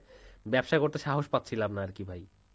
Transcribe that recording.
ব্যবসা করতে সাহস পাচ্ছিলাম না আরকি ভাই